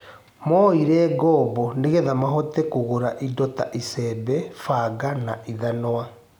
Moire ngobo nĩgetha magũre indo ta icembe, banga na ithanwa